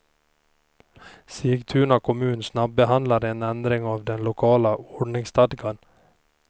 Sigtuna kommun snabbehandlar en ändring av den lokala ordningsstadgan.